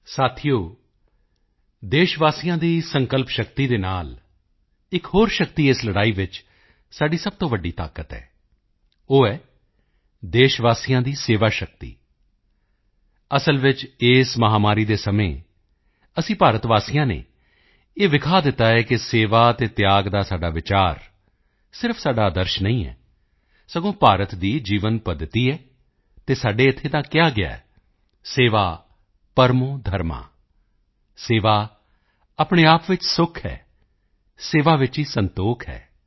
ਸਾਥੀਓ ਦੇਸ਼ਵਾਸੀਆਂ ਦੀ ਸੰਕਲਪਸ਼ਕਤੀ ਦੇ ਨਾਲ ਇੱਕ ਹੋਰ ਸ਼ਕਤੀ ਇਸ ਲੜਾਈ ਵਿੱਚ ਸਾਡੀ ਸਭ ਤੋਂ ਵੱਡੀ ਤਾਕਤ ਹੈ ਉਹ ਹੈ ਦੇਸ਼ਵਾਸੀਆਂ ਦੀ ਸੇਵਾ ਸ਼ਕਤੀ ਅਸਲ ਵਿੱਚ ਇਸ ਮਹਾਮਾਰੀ ਦੇ ਸਮੇਂ ਅਸੀਂ ਭਾਰਤ ਵਾਸੀਆਂ ਨੇ ਇਹ ਦਿਖਾ ਦਿੱਤਾ ਹੈ ਕਿ ਸੇਵਾ ਤੇ ਤਿਆਗ ਦਾ ਸਾਡਾ ਵਿਚਾਰ ਸਿਰਫ ਸਾਡਾ ਆਦਰਸ਼ ਨਹੀਂ ਹੈ ਸਗੋਂ ਭਾਰਤ ਦੀ ਜੀਵਨ ਪੱਦਤੀ ਹੈ ਅਤੇ ਸਾਡੇ ਇੱਥੇ ਤਾਂ ਕਿਹਾ ਗਿਆ ਹੈ ਸੇਵਾ ਪਰਮੋ ਧਰਮ सेवा परमो धर्म ਸੇਵਾ ਆਪਣੇ ਆਪ ਵਿੱਚ ਸੁਖ ਹੈ ਸੇਵਾ ਵਿੱਚ ਹੀ ਸੰਤੋਖ ਹੈ